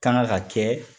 Kanga ka kɛ